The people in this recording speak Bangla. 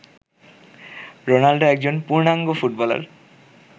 রোনাল্ডো একজন পূর্ণাঙ্গ ফুটবলার